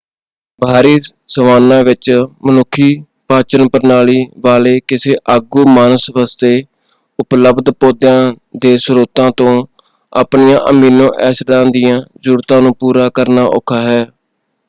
ਬਾਹਰੀ ਸਵਾਨਾ ਵਿੱਚ ਮਨੁੱਖੀ ਪਾਚਨ-ਪ੍ਰਣਾਲੀ ਵਾਲੇ ਕਿਸੇ ਆਗੂ-ਮਾਨਸ ਵਾਸਤੇ ਉਪਲਬਧ ਪੌਦਿਆਂ ਦੇ ਸਰੋਤਾਂ ਤੋਂ ਆਪਣੀਆਂ ਅਮੀਨੋ-ਐਸਿਡਾਂ ਦੀਆਂ ਜ਼ਰੂਰਤਾਂ ਨੂੰ ਪੂਰਾ ਕਰਨਾ ਔਖਾ ਹੈ।